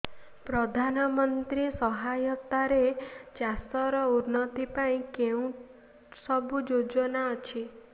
ପ୍ରଧାନମନ୍ତ୍ରୀ ସହାୟତା ରେ ଚାଷ ର ଉନ୍ନତି ପାଇଁ କେଉଁ ସବୁ ଯୋଜନା ଅଛି